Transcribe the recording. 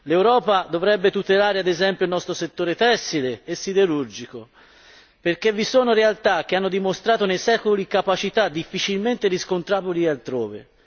L'Europa dovrebbe tutelare ad esempio il nostro settore tessile e siderurgico perché vi sono realtà che hanno dimostrato nei secoli capacità difficilmente riscontrabili altrove.